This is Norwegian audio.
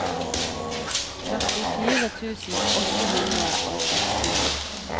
førtifire tusen åtte hundre og sekstini